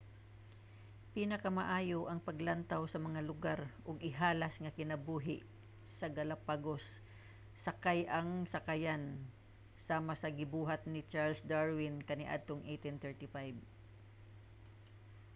pinakamaayo ang paglantaw sa mga lugar ug ihalas nga kinabuhi sa galapagos sakay ang sakayan sama sa gibuhat ni charles darwin kaniadtong 1835